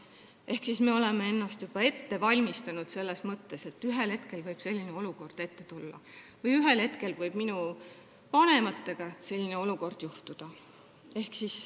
Ehk me oleksime ennast juba ette valmistanud selleks, et ühel hetkel võib selline olukord minu endaga ette tulla või ühel hetkel võib minu vanematega selline olukord juhtuda.